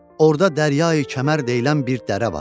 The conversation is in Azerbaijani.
Orda Dəryayi-kəmər deyilən bir dərə var.